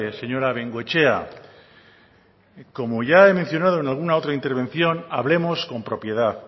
señora bengoechea como ya he mencionado en alguna otra intervención hablemos con propiedad